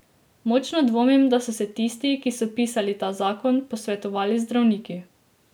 Močno dvomim, da so se tisti, ki so pisali ta zakon, posvetovali z zdravniki.